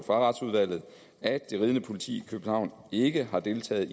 fra retsudvalget at det ridende politi i københavn ikke har deltaget